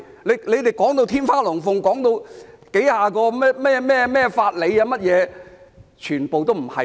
他們說到天花龍鳳，提到數十個甚麼法理，完全不是那回事。